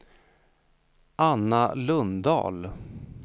Anna Lundahl